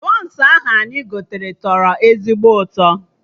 Bọns ahụ anyị gotere do ezigbo ụtọ